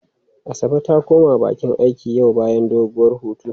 Asabe ta koma bakin aiki yau bayan doguwar hutu.